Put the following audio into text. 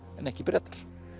en ekki Bretar